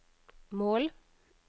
mål